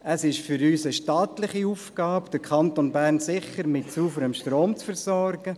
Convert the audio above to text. Es ist aus unserer Sicht eine staatliche Aufgabe, den Kanton Bern sicher mit sauberem Strom zu versorgen.